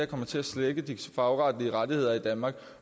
kommer til at svække de fagretlige rettigheder i danmark